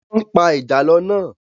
Wọ́n pa ìjàlọ́ náà.